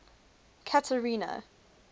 catherina